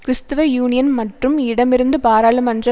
கிறிஸ்துவ யூனியன் மற்றும் இடமிருந்து பாராளுமன்ற